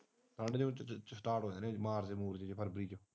ਠੰਢ ਚ ਸਟਾਰਟ ਹੋਣੇ ਐ ਮਾਰਚ ਫਰਵਰੀ ਚ